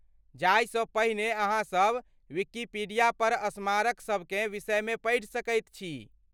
जायसँ पहिने अहाँ सभ विकिपीडियापर स्मारक सभकेँ विषयमे पढ़ि सकैत छी।